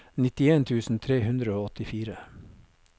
nittien tusen tre hundre og åttifire